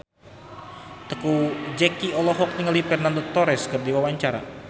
Teuku Zacky olohok ningali Fernando Torres keur diwawancara